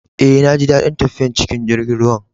Eh, na ji dadin tafiyan cikin jirigin ruwan.